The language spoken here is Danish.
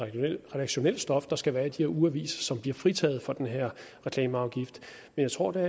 redaktionelt stof der skal være i de her ugeaviser som bliver fritaget for reklameafgiften jeg tror der